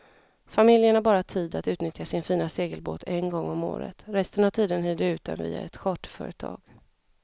Familjen har bara tid att utnyttja sin fina segelbåt en gång om året, resten av tiden hyr de ut den via ett charterföretag.